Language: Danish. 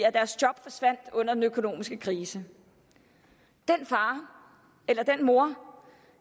at deres job forsvandt under den økonomiske krise den far eller den mor